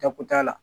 Dako t'a la